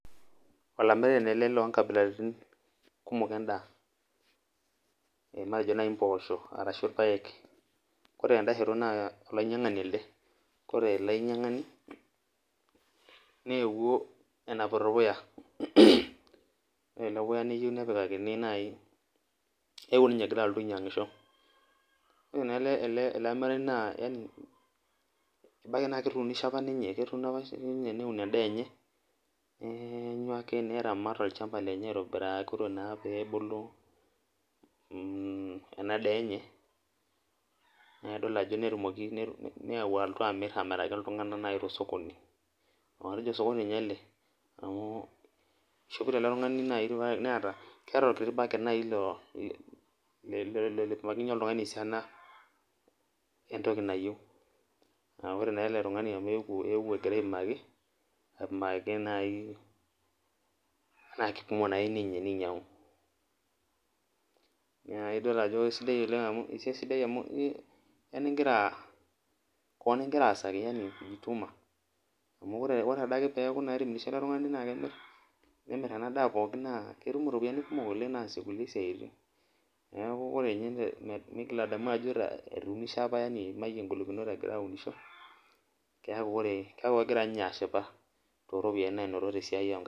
Olamirani ele loonkabilaritin kumok endaa, matejo naaji mpoosho orashu irpaek ,ore tendashoto naa olainyangani elde ore ele ainyangani, neewuo enapito orpuya ,eeuo ninye egira alotu ainyangisho .ore naa ele amirani naa ebaiki naa ketuunishe apa ninye neun endaa enye ,neenyu enkae neramati olchampa lenye aitobiraki ore naa pee ebulu ena daa enye nayau alotu amir, amiraki naaji iltunganak tosokoni ,atejio ninye osokoni naaji ele eishompitoa ele tungani ,neeta keeta orkiti backet naaji lopimakinyie oltungani esiana entoki nayieu.aa ore naa ele tungani amu eetuo engira apimaki ,naa kipima naake ninye neinyangu naa idol ajo esiai sidai oleng amu koon ingira aasaki yani kujituma, amu oree naa adake peeku etimirishe ele tungani pee emir ena daa pokin naa ketum kulie ropiyiani kumok naasie kulie siaitin ,neeku ore ninye megil adamu ajo atuunishe apa neimayie ngolikinot egira aunisho keeku kegira ninye ashipa tooropiyiani naanoto onkaek nenyenak.